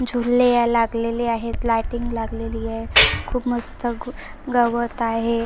झुले या लागलेल्या आहेत लायटिंग लागलेलीय खूप मस्त ग गवत आहे.